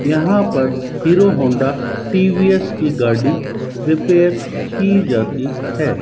यहां पर Hero Honda TVS की गाड़ी रिपेयर की जाती है।